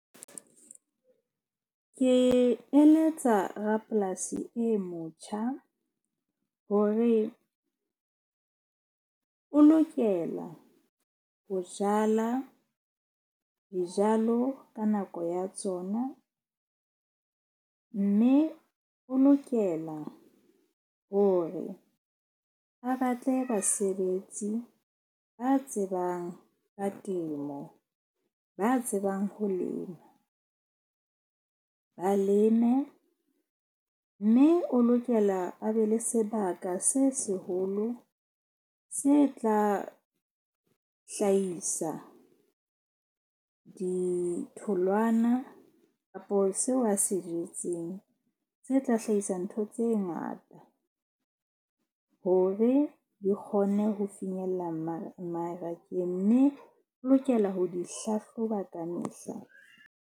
Ke eletsa rapolasi e motjha hore o lokela ho jala dijalo ka nako ya tsona. Mme o lokela hore a batle basebetsi ba tsebang ka temo, ba tsebang ho lema, ba leme mme o lokela a be le sebaka se seholo se tla hlahisa ditholwana kapo seo a se jetseng. Tse tla hlahisa ntho tse ngata hore di kgone ho finyella marakeng. Mme o lokela ho di hlahloba ka mehla.